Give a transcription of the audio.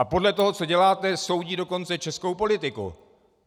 A podle toho, co děláte, soudí dokonce českou politiku.